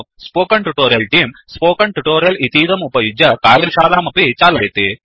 spoken tutorial team spoken tutorial इतीदम् उपयुज्य कार्यशालामपि चालयति